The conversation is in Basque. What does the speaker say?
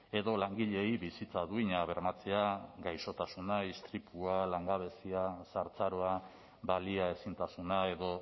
edo langileei bizitza duina bermatzea gaixotasuna istripua langabezia zahartzaroa baliaezintasuna edo